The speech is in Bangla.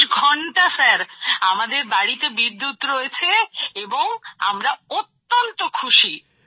২৪ ঘন্টা স্যার আমাদের বাড়িতে বিদ্যুৎ রয়েছে এবং আমরা অত্যন্ত খুশি